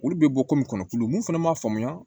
Olu bɛ bɔ kɔmi kɔnɔ tulu mun fana man faamuya